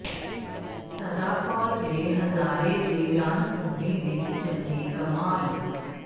ਸਦਾ ਕੌਰ ਦੇ ਹਜ਼ਾਰੇ ਦੀ ਰਣਭੂਮੀ ਵਿਚ ਜੰਗੀ ਕਮਾਲ